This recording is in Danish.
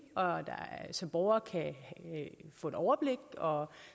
så borgerne kan få et overblik og